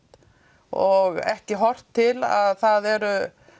og ekki horft til að það eru